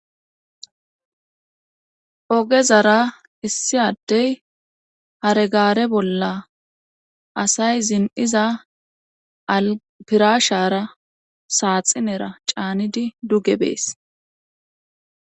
Ogezara issi addey haregaare bolla asay zin'iza alpirashara saaxinera caanidi duge bees.